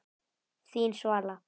Þín, Svala.